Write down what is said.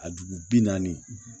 A dugu bi naani